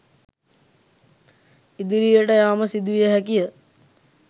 ඉදිරියට යාම සිදුවිය හැකි ය.